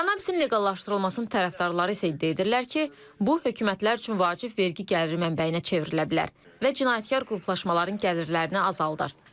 Kannabisin leqallaşdırılmasının tərəfdarları isə iddia edirlər ki, bu hökumətlər üçün vacib vergi gəliri mənbəyinə çevrilə bilər və cinayətkar qruplaşmaların gəlirlərini azaldar.